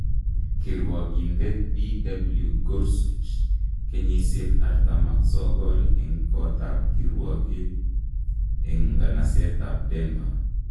Kirwokindet Bw Gorsuch , kenysiek 49 en kotab kirwogik en nganaset ab Denver.